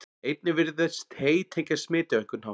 einnig virðist hey tengjast smiti á einhvern hátt